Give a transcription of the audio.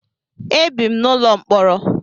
Ebi m n'ụlọ mkpọrọ.